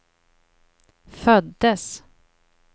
föddes